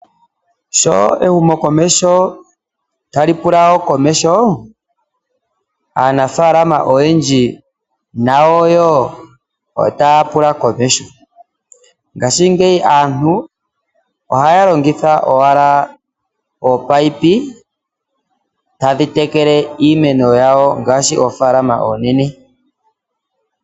Sho ehumo komesho tali pula komesho aanafalama oyendji nayo wo otaya pula komesho ngashingeyi aantu ohaya longitha ominono tadhi tekele iimeno yawo ngaashi oofalama oonene.